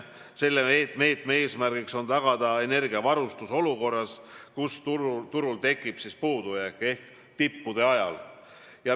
Selle meetme eesmärk on tagada energiavarustus olukorras, kus turul tekib puudujääk, ehk tippude ajal.